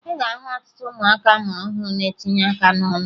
Ị ga-ahụ ọtụtụ ụmụaka a mụrụ ọhụrụ na-etinye aka n'ọnụ